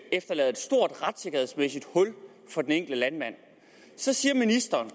efterlader et stort retssikkerhedsmæssigt hul for den enkelte landmand så siger ministeren